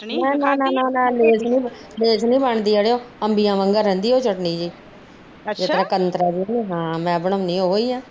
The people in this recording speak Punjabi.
ਨਾ ਨਾ ਨਾ ਲੈਸ ਨੀ ਬਣਦੀ ਅੜਿਆ ਅੰਬੀਆ ਵਾਂਗੂ ਰਹਿੰਦੀ ਚਟਨੀ